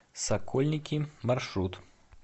сокольники маршрут